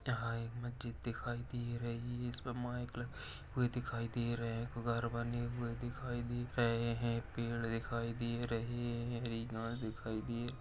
यहाँ एक मस्जिद दिखाई दे रही है इसमें माइक लगी हुए दिखाई दे रहे हैं। घर बने हुए दिखाई दे रहे हैं पेड़ दिखाई दे रहे हैं दिखाई दे --